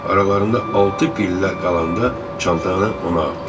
Aralarında altı pillə qalanda çantanı ona atdı.